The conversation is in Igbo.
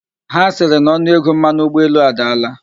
Ha sịrị na onuego mmanụ ụgbọelu adaala?